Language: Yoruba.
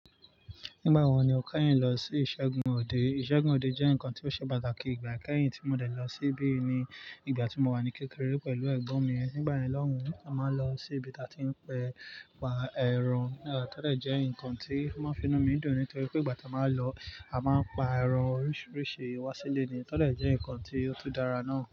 Nígbà wo ni o kẹ́yìn lọ sí ìṣẹ́gun òde? Ìṣẹ́gun òde jẹ́ nǹkan tí ó ṣe pàtàkì ìgbà kẹ́yìn tí mo dẹ̀ lọ síbí ni ìgbà tí mo wà ní kékeré pẹ̀lú ẹ̀gbọ́n mi. Nígbà yẹ̀n lọ́hùn, a máa ń lọ sí ibi tí a ti ń pa ẹran. Ẹ̀ tọ́ dẹ̀ jẹ́ nǹkan tí máa ń fi inú mi dùn nítorí pé ìgbà tí a máa ń lọ, a máa ń pa ẹran oríṣiríṣi wá sílé ni. Tọ́ dẹ̀ jẹ́ nǹkan tí ó tun dára náà.